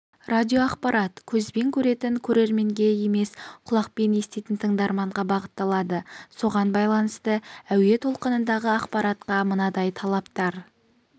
радиоақпарат көзбен көретін көрерменге емес құлақпен еститін тыңдарманға бағытталады соған байланысты әуе толқынындағы ақпаратқа мынадай талаптар